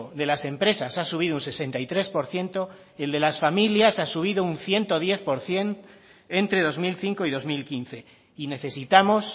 de las empresas ha subido un sesenta y tres por ciento el de las familias ha subido un ciento diez por ciento entre dos mil cinco y dos mil quince y necesitamos